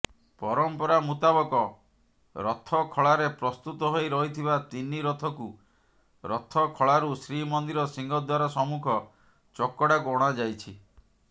ପରମ୍ପରା ମୁତାବକ ରଥଖଳାରେ ପ୍ରସ୍ତୁତ ହୋଇ ରହିଥିବା ତିନି ରଥକୁ ରଥଖଳାରୁ ଶ୍ରୀମନ୍ଦିର ସିଂହଦ୍ୱାର ସମ୍ମୁଖ ଚକଡ଼ାକୁ ଅଣାଯାଇଛି